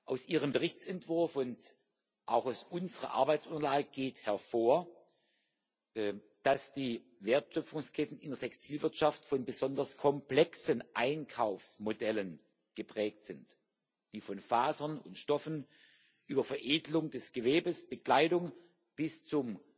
Aus Ihrem Berichtsentwurf und auch aus unserer Arbeitsunterlage geht hervor, dass die Wertschöpfungsketten in der Textilwirtschaft von besonders komplexen Einkaufsmodellen geprägt sind, die von Fasern und Stoffen über Veredelung des Gewebes, Bekleidung bis zum